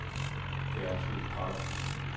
Gertrud Gram